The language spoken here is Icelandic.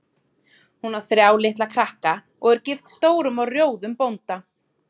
Hún á þrjá litla krakka og er gift stórum og rjóðum bónda.